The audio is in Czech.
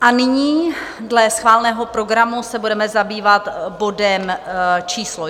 A nyní dle schváleného programu se budeme zabývat bodem číslo